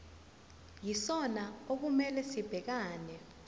yisona okumele sibhekane